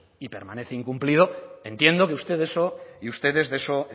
y permanece incumplido entiendo que usted de eso y ustedes de eso